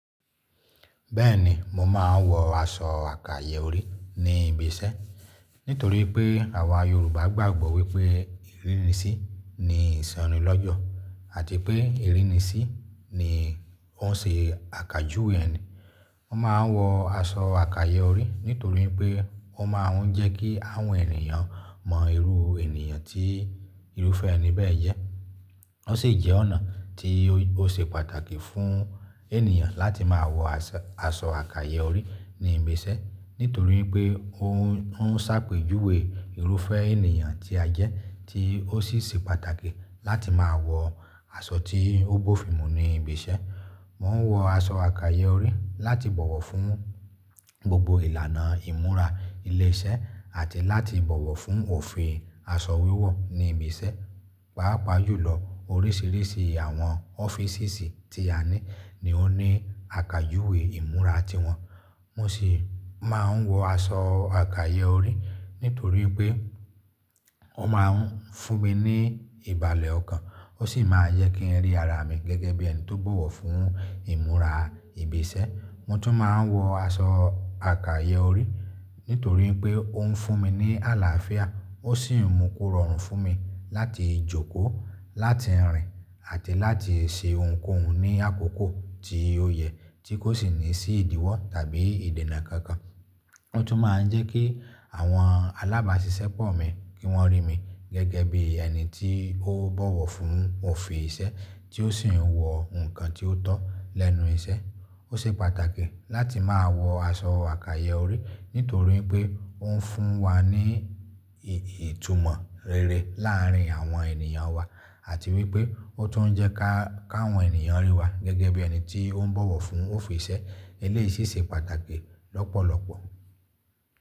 Bẹ́ẹ̀ni, mo máa ń wọ aṣọ àkàyè orí ní ibi iṣẹ́. Nítorí pé àwa Yorùbá gbàgbọ́ wípé ìrínisí ni ìsọnilọ́jọ̀ àti pé ìrínisí ni ó ń ṣe àkàjúwe ẹni. Mo máa ń wọ aṣọ àkàyè orí nítorí pé wọ́n máa ń jẹ́ kí àwọn ènìyàn mọ irú ènìyàn tí irúfẹ́ ẹni bẹ́ẹ̀ jẹ́. Ó sì jẹ́ ọ̀nà tí ó ṣe pàtàkì fún ènìyàn láti máa wọ aṣọ àkàyè orí ní ibi iṣẹ́. Nítorí pé ó ń sáàpèjúwe irúfẹ́ ènìyàn tí a jẹ́, tí ó sì ṣe pàtàkì láti máa wọ aṣọ tí ó bófin mú ní ibi iṣẹ́. Mo n wọ aṣọ àkàyè orí láti bọ̀wọ̀ fún gbogbo ìlànà ìmúra ilé iṣẹ́ àti láti bọ̀wọ̀ fún òfin aṣọ wíwọ̀ ní ibi iṣẹ́. Páápàá jùlọ oríṣiríṣi àwọn ọ́físìsì tí a ní ni ó ní àkàjúwe ìmúra ti wọn. Mo sì máa ń wọ aṣọ àkàyè orí nítorí pé ó máa ń fún mi ní ìbàlẹ̀ ọkàn ó sì máa n jẹ kí ń rí ara mi gẹ́gẹ́ bí ẹni tó bọ̀wọ̀ fún ìmúra ibi iṣẹ́. Mo tún máa ń wọ aṣọ àkàyè orí nítorí pé ó ń fún mi ní àlàáfíà ó sì mú kó rọrùn fún mi láti jókòó, láti rìn àti láti ṣe ohunkóhun ní àkókò tí ó yẹ tí kò sì ní sí ìdíwọ́ tàbí ìdènà kankan. Ó tún máa ń jẹ́ kí àwọn alábàásisẹ́pọ̀ mi kí wọ́n rí mi gẹ́gẹ́ bí ẹni tí ó bọ̀wọ̀ fún òfin iṣẹ́ tí ó sì ń wọ nǹkan tí ó tọ́ lẹ́nu iṣẹ́. Ó ṣe pàtàkì láti máa wọ aṣọ àkàyè orí nítorí pé ó ń fún wa ní ìtumọ̀ rere láàárín àwọn ènìyàn wa àti wípé ó tún jẹ́ ká àwọn ènìyàn rí wa gẹ́gẹ́ bí ẹni tí ó ń bọ̀wọ̀ fún òfin iṣẹ́. Eléyi sì ṣe ṣe pàtàkì lọ́pọ̀lọ́pọ̀.